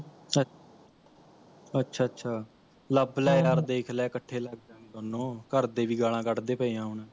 ਅੱਛਾ ਅੱਛਾ ਲੱਭ ਹਮਮ ਲੈ ਯਾਰ ਦੇਖ ਲੈ ਇਕੱਠੇ ਲੱਗ ਜਾਗੇ ਦੋਨੋਂ, ਘਰਦੇ ਵੀ ਗਾਲ੍ਹਾਂ ਕੱਢਦੇ ਪਏ ਹੈ ਹੁਣ